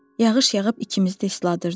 Yağış yağıb ikimiz də isladırdı.